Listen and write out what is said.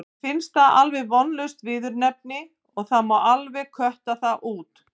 Mér finnst það alveg vonlaust viðurnefni og það má alveg kötta það út.